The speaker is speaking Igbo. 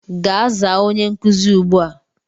Gaa zaa onye nkuzi ugbua!